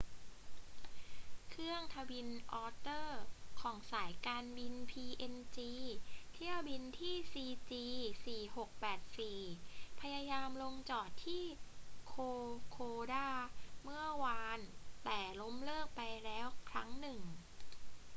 เครื่องทวินอ็อตเตอร์ของสายการบินพีเอ็นจีเที่ยวบินที่ cg4684 พยายามลงจอดที่โคโคดาเมื่อวาน แต่ล้มเลิกไปแล้วครั้งหนึ่ง